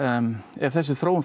ef þessi þróun